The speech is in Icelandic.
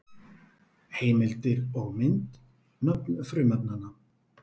Heimildir og mynd: Nöfn frumefnanna.